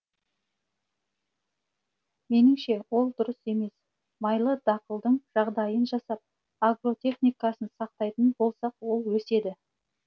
меніңше ол дұрыс емес майлы дақылдың жағдайын жасап агротехникасын сақтайтын болсақ ол өседі